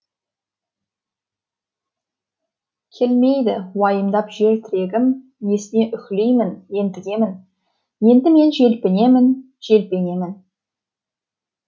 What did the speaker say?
келмейді уайымдап жер тірегім несіне үһілеймін ентігемін енді мен желпінемін желпінемін